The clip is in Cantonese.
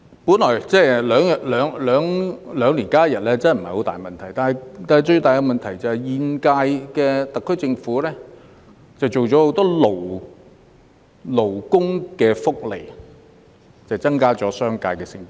每兩年增加一天假期本來不是大問題，但最大問題是現屆政府增設了許多勞工福利，加重商界成本。